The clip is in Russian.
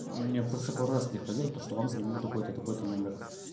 мне просто пару раз приходило что что вам звонил такой-то такой-то номер